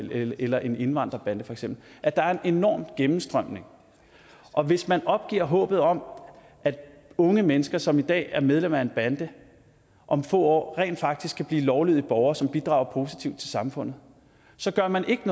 eller en indvandrerbande feks at der er en enorm gennemstrømning og hvis man opgiver håbet om at unge mennesker som i dag er medlemmer af en bande om få år rent faktisk kan blive lovlydige borgere som bidrager positivt til samfundet så gør man ikke